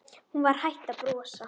Hún var hætt að brosa.